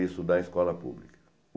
Isso da escola pública.